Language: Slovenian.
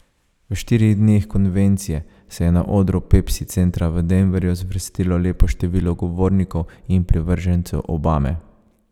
V štirih dneh konvencije se je na odru Pepsi centra v Denverju zvrstilo lepo število govornikov in privržencev Obame.